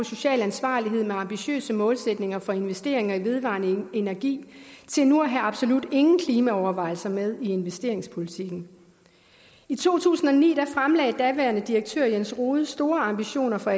social ansvarlighed med ambitiøse målsætninger for investeringer i vedvarende energi til nu at have absolut ingen klimaovervejelser med i investeringspolitikken i to tusind og ni fremlagde daværende direktør lars rohde store ambitioner for